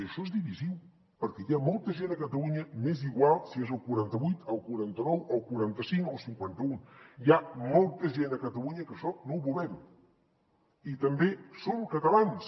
i això és divisiu perquè hi ha molta gent a catalunya m’és igual si és el quaranta vuit el quaranta nou el quaranta cinc o el cinquanta un hi ha molta gent a catalunya que això no ho volem i també som catalans